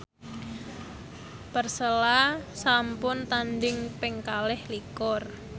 Persela sampun tandhing ping kalih likur